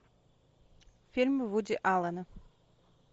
фильм вуди аллена